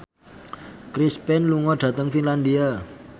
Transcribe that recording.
Chris Pane lunga dhateng Finlandia